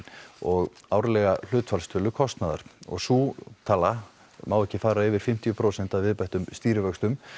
og árlega hlutfallstölu kostnaðar sú tala má ekki fara yfir fimmtíu prósent að viðbættum stýrivöxtum